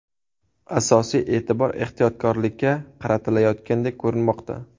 Asosiy e’tibor ehtiyotkorlikka qaratilayotgandek ko‘rinmoqda.